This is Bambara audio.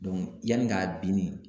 yanni k'a binni